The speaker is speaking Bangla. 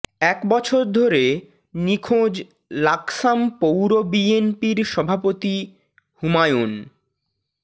এক বছর ধরে নিখোঁজ লাকসাম পৌর বিএনপির সভাপতি হুমায়ুন